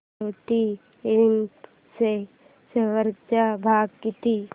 Maruti infra च्या share चा भाव किती